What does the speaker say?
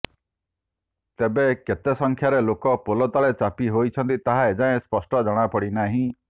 ତେବେ କେତେ ସଂଖ୍ୟାରେ ଲୋକ ପୋଲ ତଳେ ଚାପି ହୋଇଛନ୍ତି ତାହା ଏଯାଏଁ ସ୍ପଷ୍ଟ ଜଣାପଡ଼ିନାହିଁ